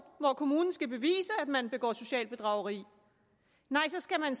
hvor kommunen skal bevise at man begår socialt bedrageri nej så skal man